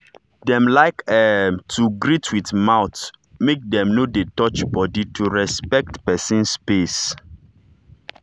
dem like um to greet with mouth make dem no dey touch body to respect person space.